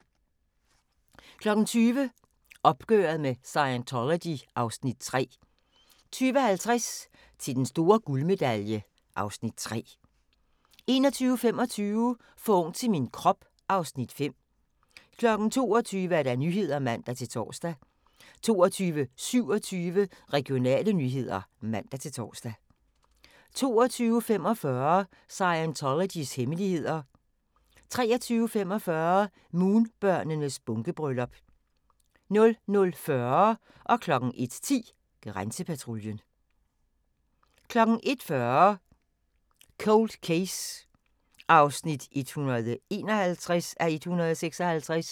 20:00: Opgøret med Scientology (Afs. 3) 20:50: Til den store guldmedalje (Afs. 3) 21:25: For ung til min krop (Afs. 5) 22:00: Nyhederne (man-tor) 22:27: Regionale nyheder (man-tor) 22:45: Scientologys hemmeligheder 23:45: Moonbørnenes bunkebryllup 00:40: Grænsepatruljen 01:10: Grænsepatruljen 01:40: Cold Case (151:156)